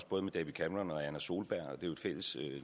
både david cameron og anna solberg det er jo et fælles